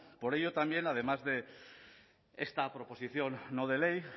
por ello también además de esta proposición no de ley